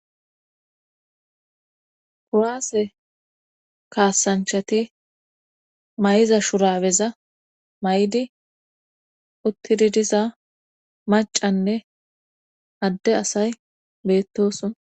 Kuwaase kaasanchati may7iza shuraweza may7di uttidi diza macanne adde asay beettoson